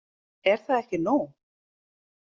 Er það ekki nóg?